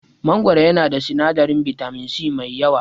Mangoro yana da sinadarin bitamin C mai yawa.